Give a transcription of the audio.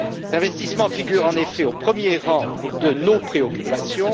L'investissement figure en effet au premier rang de nos préoccupations.